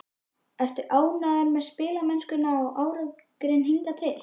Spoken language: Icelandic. Ertu ánægður með spilamennskuna og árangurinn hingað til?